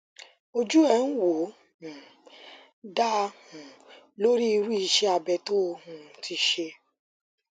ojú ẹ ń wò ó um da um lórí irú iṣé abẹ tó o um ti ṣe